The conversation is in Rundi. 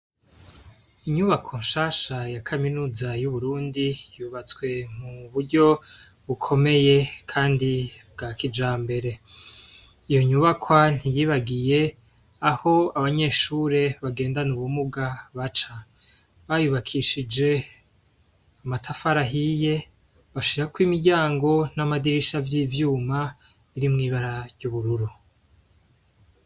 Inyubako nshasha ya kaminuza y’Uburundi yubatswe mu buryo bukomeye kandi bwa kijambere. Iyo nyubakwa ntiyibagiye aho abanyeshure bagendana ubumuga baca. Bayubakishije amatafari ahiye, bashirako imiryango n’amadirisha vy’ivyuma biri mw’ibara ry’ubururu.